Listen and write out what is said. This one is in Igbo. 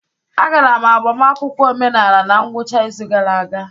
Agara m agbamakwụkwọ omenala na ngwụcha izu gara aga.